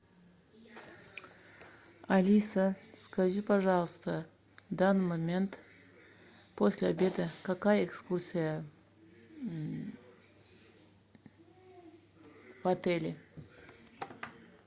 алиса скажи пожалуйста в данный момент после обеда какая экскурсия в отеле